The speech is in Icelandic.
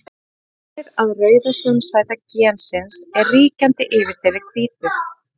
Það sýnir að rauða samsæta gensins er ríkjandi yfir þeirri hvítu.